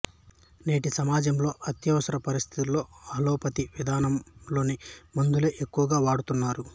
నేటి సమాజములో అత్యవసర పరిస్థితులలో అల్లోపతి విధానము లోని మందులే ఎక్కువగా వాడుతున్నారు